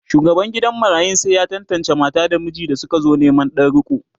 shugaban gidan marayun sai ya tantance mata da miji da sukazo Neman Dan riko